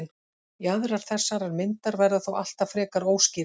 Jaðrar þessarar myndar verða þó alltaf frekar óskýrir.